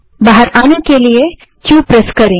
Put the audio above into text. बाहर आने के लिए क्यू दबायें